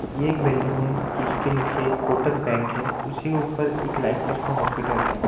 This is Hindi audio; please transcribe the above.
ये एक बिल्डिंग है जिसके नीचे कोटक बैंक है उसी के ऊपर एक लाइफ केयर हॉस्पिटल है।